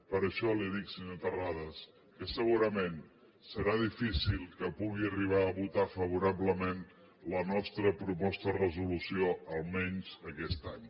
per això li dic senyor terrades que segurament serà difícil que pugui arribar a votar favorablement la nostra proposta de resolució almenys aquest any